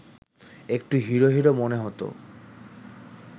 একটু hero hero মনে হতো